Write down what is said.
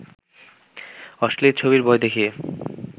অশ্লীল ছবির ভয় দেখিয়ে